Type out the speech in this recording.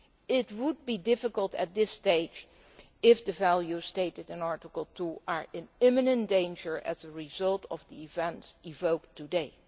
It would be difficult at this stage if the values stated in Article 2 were to be in imminent danger as a result of the events evoked today.